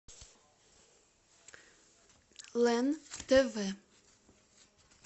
лен тв